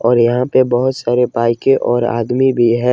और यहां पे बहुत सारे बाइके और आदमी भी है।